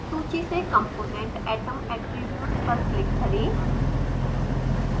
सूची से component atom attributes पर क्लिक करें